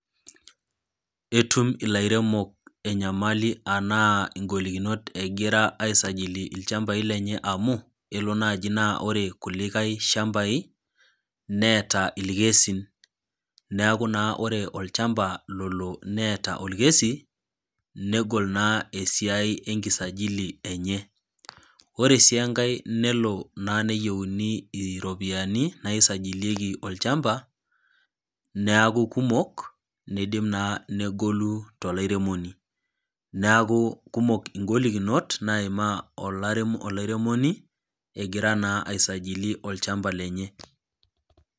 Etumilairemok enyamali anaa ngolikinot egira aisajili ilchambai lenye amu kelo naji ore kulikae shambai neeta irkesin neeku naa ore olchamba lolo neeta okesi negol naa esiai enkisajili enye. Ore sii enkae nelo naa neyienu iropiyiani naisijilie olchamba neaku kumok nidim naa , negolu tolairemoni ,neeku kumok ngolikinot naimaa olairemoni , egira naa aisajili olchamba lenye.